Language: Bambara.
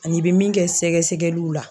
Ani i bɛ min kɛ sɛgɛsɛgɛliw la.